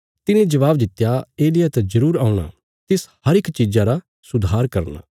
तिने जबाब दित्या एलिय्याह त जरूर औणा तिस हर इक चीज़ा रा सुधार करना